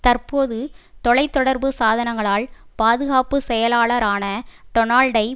தற்போது தொலை தொடர்பு சாதனங்களால் பாதுகாப்பு செயலாளரான டொனால்டை